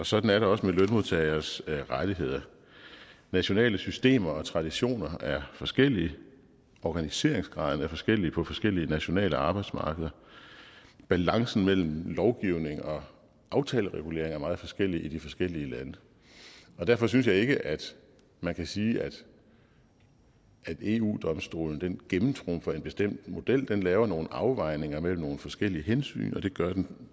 sådan er det også med lønmodtageres rettigheder nationale systemer og traditioner er forskellige organiseringsgraden er forskellig på forskellige nationale arbejdsmarkeder balancen mellem lovgivning og aftaleregulering af meget forskellig i de forskellige lande derfor synes jeg ikke at man kan sige at eu domstolen gennemtrumfer en bestemt model den laver nogle afvejninger mellem nogle forskellige hensyn og det gør den